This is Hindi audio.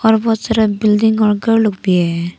और बहुत सारा बिल्डिंग और घर लोग भी है।